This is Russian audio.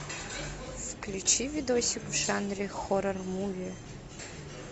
включи видосик в жанре хоррор муви